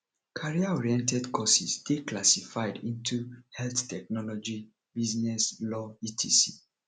career oriented courses de classified into health technology business law etc